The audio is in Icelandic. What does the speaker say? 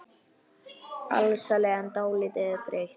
Alsæl en dálítið þreytt.